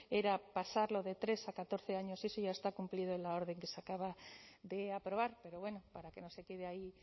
era pasarlo de tres a catorce años eso ya está cumplido en la orden que se acaba de aprobar pero bueno para que no se quede ahí